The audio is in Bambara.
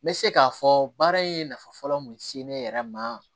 N bɛ se k'a fɔ baara in nafa fɔlɔ mun se ne yɛrɛ ma